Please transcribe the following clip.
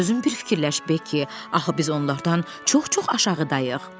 Özün bir fikirləş Beki, axı biz onlardan çox-çox aşağıdayıq.